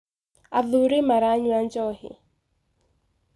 Athuri maranyua njohi.